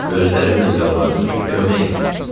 Gözlərimlə yalvardım ki, kömək elə.